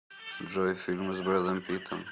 джой фильмы с брэдом питом